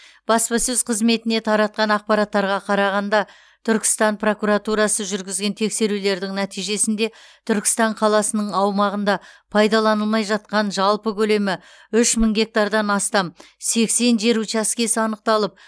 баспасөз қызметіне таратқан ақпараттарға қарағанда түркістан прокуратурасы жүргізген тексерулердің нәтижесінде түркістан қаласының аумағында пайдаланылмай жатқан жалпы көлемі үш мың гектардан астам сексен жер учаскесі анықталып